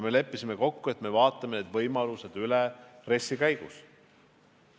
Me leppisime kokku, et me vaatame need võimalused üle RES-i arutelu käigus.